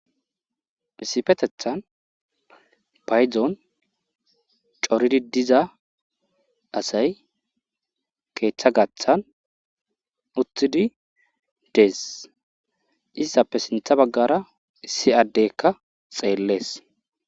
Issifetethan payzon coridi diza asay keeththa gaththan uthidi dees issappe sintha baggara issi addekka xeellees